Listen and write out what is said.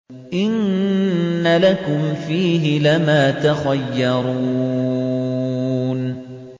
إِنَّ لَكُمْ فِيهِ لَمَا تَخَيَّرُونَ